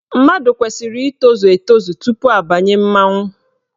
Mmadụ kwesiri ịtozu etozu tupu abanye mmanwụ.